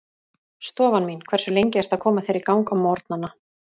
Stofan mín Hversu lengi ertu að koma þér í gang á morgnanna?